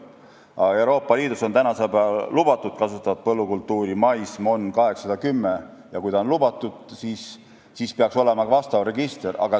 Aga Euroopa Liidus on tänasel päeval lubatud kasvatada põllukultuuri mais MON 810 ja kui on lubatud, siis peaks olema ka vastav register.